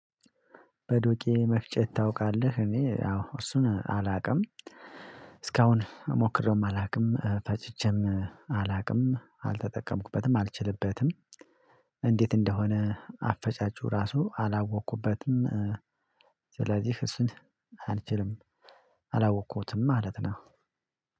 በዱቄት መፍጨት ታውቃለህ? እኔ ያው እሱን አላውቅም እስካሁን ሞክሬውም አላውቅም ፈጭቼም አላውቅም አልተጠቀምኩበትም አልችልበትም እንዴት እንደሆነ አፈጫጩ ራሱ አላወቅኩበትም ስለዚህ እሱን አልችልም አላወቅሁትም ማለት ነው